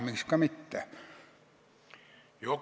Miks ka mitte?